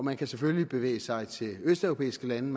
man kan selvfølgelig bevæge sig til østeuropæiske lande